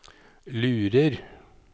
lurer